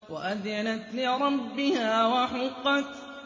وَأَذِنَتْ لِرَبِّهَا وَحُقَّتْ